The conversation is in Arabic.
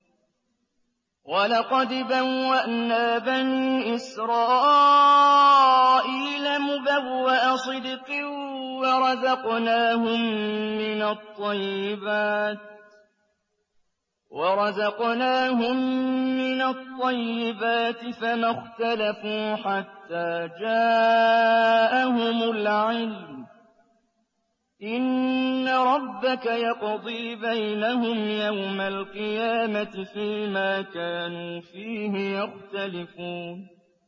وَلَقَدْ بَوَّأْنَا بَنِي إِسْرَائِيلَ مُبَوَّأَ صِدْقٍ وَرَزَقْنَاهُم مِّنَ الطَّيِّبَاتِ فَمَا اخْتَلَفُوا حَتَّىٰ جَاءَهُمُ الْعِلْمُ ۚ إِنَّ رَبَّكَ يَقْضِي بَيْنَهُمْ يَوْمَ الْقِيَامَةِ فِيمَا كَانُوا فِيهِ يَخْتَلِفُونَ